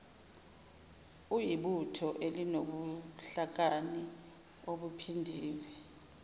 uyibutho elinobuhlakani obuphindiwe